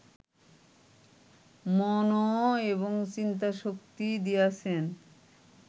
মনঃ এবং চিন্তাশক্তি দিয়াছেন